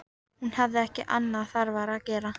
Hún hafði ekki annað þarfara að gera.